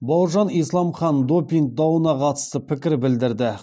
бауыржан исламхан допинг дауына қатысты пікір білдірді